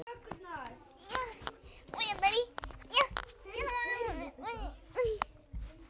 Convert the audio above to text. Kvöldið sem ég var handtekinn fann ég fyrir ákveðnum létti.